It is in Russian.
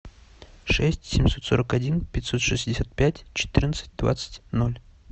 шесть семьсот сорок один пятьсот шестьдесят пять четырнадцать двадцать ноль